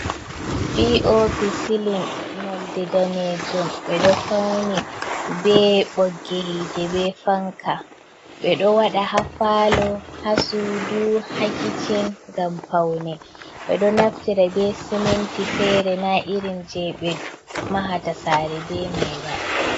Pi o pi silin nolde danejum ɓe ɗo fauni be ɓoggihide be fanka ɓe ɗo waɗa haffalo hasudu hakicin gam paune be do naftira be siminti fere na irin je ɓe mahata sare be mai ba.